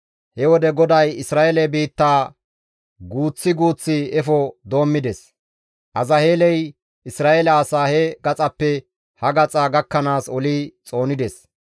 He wode GODAY Isra7eele biittaa guuththi guuththi efo doommides. Azaheeley Isra7eele asaa he gaxappe ha gaxa gakkanaas oli xoonides.